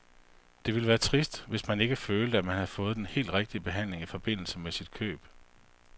Det ville være trist, hvis man ikke følte, at man havde fået den helt rigtige behandling i forbindelse med sit køb.